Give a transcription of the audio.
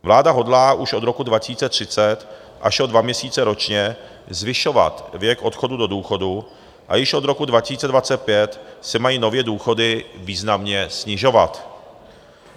Vláda hodlá už od roku 2030 až o dva měsíce ročně zvyšovat věk odchodu do důchodu a již od roku 2025 se mají nově důchody významně snižovat.